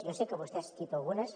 jo sé que vostè ha assistit a algunes